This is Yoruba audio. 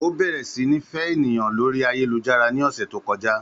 Ó bẹ̀rẹ̀ sí ní fẹ́ ènìyàn lórí ayélujára ní ọ̀sẹ̀ tí ó kọjá